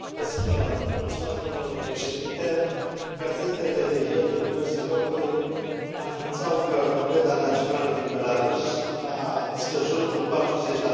Gazetele de ieri din diverse locuri anunțau că moneda națională din Belarus a scăzut cu 40 în ultimul timp din cauza crizei.